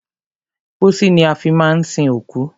Pósí ni a fi má ń sin òkú.